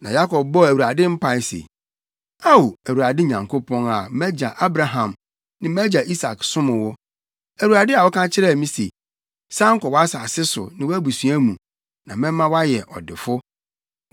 Na Yakob bɔɔ Awurade mpae se, “Ao, Awurade Nyankopɔn a mʼagya Abraham ne mʼagya Isak som wo, Awurade a woka kyerɛɛ me se, ‘San kɔ wʼasase so ne wʼabusua mu, na mɛma woayɛ ɔdefo.’